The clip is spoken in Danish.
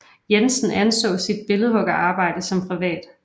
Jensen anså sit billedhuggerarbejde som privat